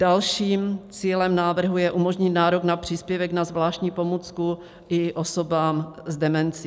Dalším cílem návrhu je umožnit nárok na příspěvek na zvláštní pomůcku i osobám s demencí.